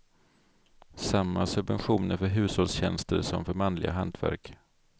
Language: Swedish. Samma subventioner för hushållstjänster som för manliga hantverk.